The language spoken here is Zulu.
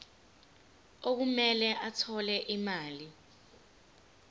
okumele athole imali